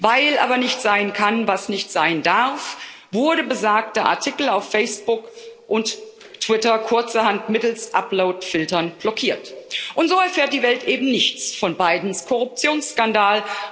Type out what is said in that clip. Weil aber nicht sein kann, was nicht sein darf, wurde besagter Artikel auf Facebook und Twitter kurzerhand mittels Uploadfiltern blockiert. Und so erfährt die Welt eben nichts von Bidens Korruptionsskandal.